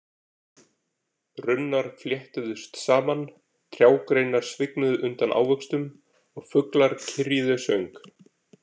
Runnar fléttuðust saman, trjágreinar svignuðu undan ávöxtum og fuglar kyrjuðu söng.